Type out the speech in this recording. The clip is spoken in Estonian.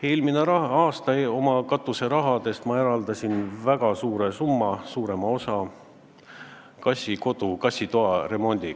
Eelmine aasta eraldasin ma oma katuserahast väga suure summa – suurema osa – kassitoa remondiks.